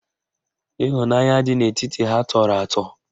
Ịhụnanya dị n'etiti ha tọrọ atọ